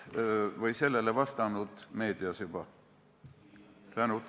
Ma olen sellele meedias juba vastanud.